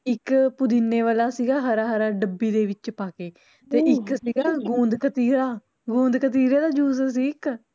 ਇਕ ਪੁਦੀਨੇ ਵਾਲਾ ਸੀਗਾ ਹਰਾ ਹਰਾ ਡੱਬੀ ਦੇ ਵਿਚ ਪਾਕੇ ਤੇ ਇਕ ਸੀਗਾ ਗੁੰਦਕਤੀਰਾ, ਗੁੰਦਕਤੀਰੇ ਦਾ juice ਸੀ ਇਕ